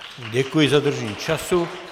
Děkuji za dodržení času.